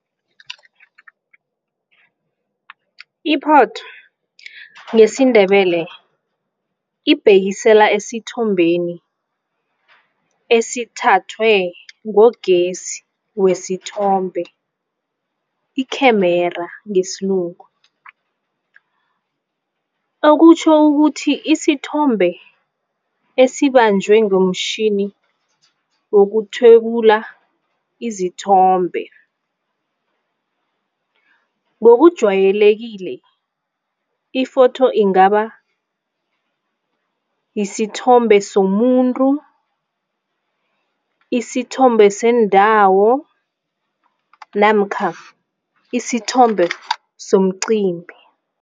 Iphotho ngesiNdebele ibhekisela esithombeni esithathwe ngogesi wesithombe i-camera ngesilungu. Okutjho ukuthi isithombe esibanjwe ngomtjhini wokuthwebula izithombe. Ngokujwayelekile i-photho ingaba isithombe somuntu, isithombe sendawo namkha isithombe somcimbi.